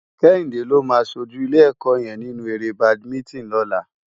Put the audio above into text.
Kehinde ló má ṣójú ilé èkò yèn ninú éré bádimintin lòlá